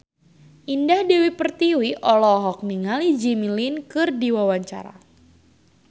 Indah Dewi Pertiwi olohok ningali Jimmy Lin keur diwawancara